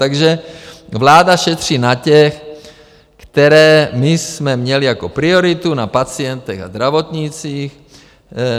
Takže vláda šetří na těch, které my jsme měli jako prioritu, na pacientech a zdravotnících.